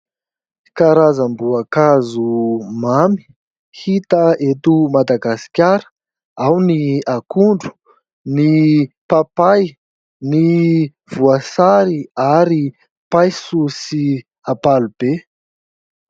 Karazam-boankazo mamy hita eto Madagasikara ao ny akondro, ny papay, ny voasary ary paiso sy ampalibe.